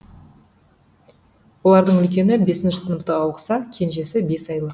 олардың үлкені бесінші сыныпта оқыса кенежесі бес айлық